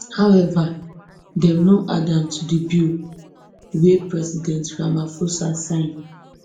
however dem no add am to di bill wey president ramaphosa sign